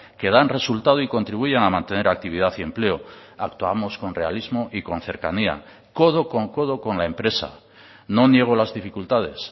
que dan resultado y contribuyen a mantener actividad y empleo actuamos con realismo y con cercanía codo con codo con la empresa no niego las dificultades